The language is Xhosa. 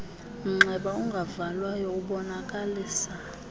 mnxeba ungavalwayo ubonakalisa